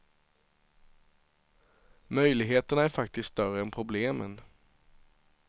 Möjligheterna är faktiskt större än problemen.